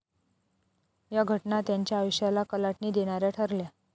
या घटना त्यांच्या आयुष्याला कलाटणी देणाऱ्या ठरल्या.